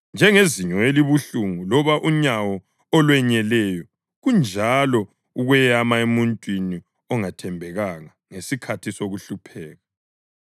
Njengezinyo elibuhlungu loba unyawo olwenyeleyo kunjalo ukweyama emuntwini ongathembekanga ngesikhathi sokuhlupheka.